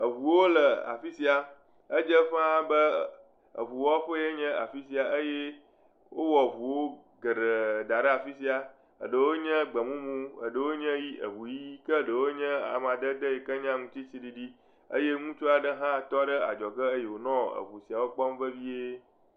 Eŋuwo le afi sia edze ƒa be eŋuwɔƒee nye afi sia eye wowɔ ŋuwo geɖe da ɖe afi sia eɖewo nye gbemumu, eɖewo nye ʋi eŋu ʋi eye eɖewo nye amadede yike nye aŋutitsiɖiɖi eye ŋutsu aɖe hã tɔ ɖe adzɔge eye wonɔ eŋu siawo kpɔm vevie.